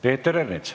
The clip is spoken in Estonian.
Peeter Ernits.